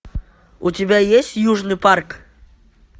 у тебя есть южный парк